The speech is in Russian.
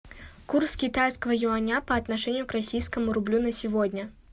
курс китайского юаня по отношению к российскому рублю на сегодня